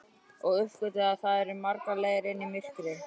Og uppgötvaði að það eru margar leiðir inn í myrkrið.